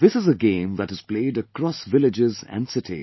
This is a game that is played across villages and cities